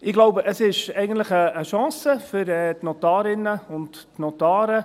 Ich glaube, es ist eigentlich eine Chance für die Notarinnen und Notare.